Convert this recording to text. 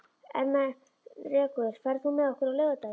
Ermenrekur, ferð þú með okkur á laugardaginn?